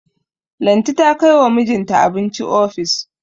Lanti ta kai wa mijinta abinci ofis.